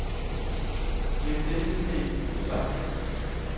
Læg denne e-mail i udbakken.